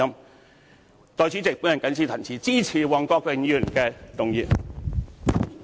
代理主席，我謹此陳辭，支持黃國健議員的議案。